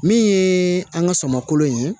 Min ye an ka sɔmako ye